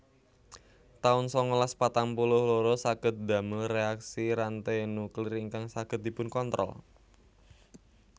taun sangalas patang puluh loro Saged ndamel reaksi ranté nuklir ingkang saged dipunkontrol